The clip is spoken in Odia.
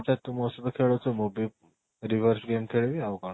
ତ ତୁ ମୋ ସହିତ ଖେଳୁଛୁ ମୁଁ ବି reverse ବି ଏମିତି ଖେଳିବି ଆଉ କ'ଣ